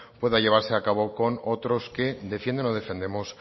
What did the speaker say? pueda llevar a cabo con otros que defienden o defendemos